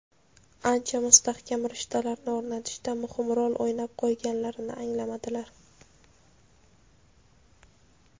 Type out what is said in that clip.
ancha mustahkam rishtalarni o‘rnatishda muhim rol o‘ynab qo‘yganlarini anglamadilar.